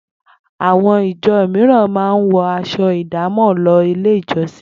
Àwo̩n ìjo̩ mìíràn máa ń wo̩ as̩o̩ ìdámò̩ lo̩ sí ilé ìjo̩sìn